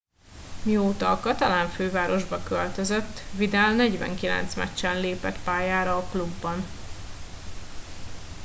mióta a katalán fővárosba költözött vidal 49 meccsen lépett pályára a klubban